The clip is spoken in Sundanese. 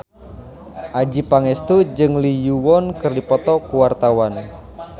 Adjie Pangestu jeung Lee Yo Won keur dipoto ku wartawan